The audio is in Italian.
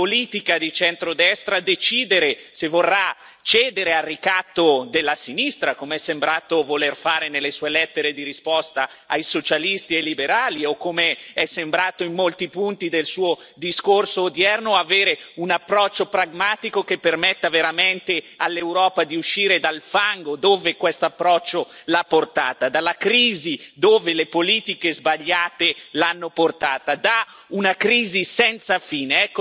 Da politica di centrodestra decidere se vorrà cedere al ricatto della sinistra, come è sembrata voler fare nelle Sue lettere di risposta ai socialisti e liberali o come è sembrato in molti punti del Suo discorso odierno avere un approccio pragmatico che permetta veramente all'Europa di uscire dal fango dove questo approccio l'ha portata, dalla crisi, dove le politiche sbagliate l'hanno portata, da una crisi senza fine.